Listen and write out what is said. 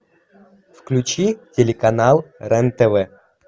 включи телеканал рен тв